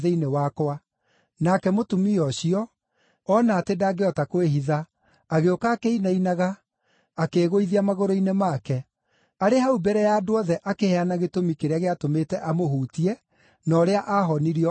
Nake mũtumia ũcio, ona atĩ ndangĩhota kwĩhitha, agĩũka akĩinainaga, akĩĩgũithia magũrũ-inĩ make. Arĩ hau mbere ya andũ othe akĩheana gĩtũmi kĩrĩa gĩatũmĩte amũhutie na ũrĩa aahonirio o ro rĩmwe.